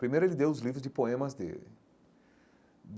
Primeiro, ele deu os livros de poemas dele.